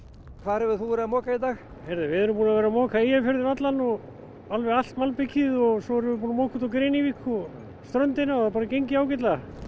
hvar hefur þú verið að moka í dag við erum búnir að vera að moka Eyjafjörðinn allan og allt malbikið svo erum við búnir að moka út á Grenivík og ströndina og það hefur bara gengið ágætlega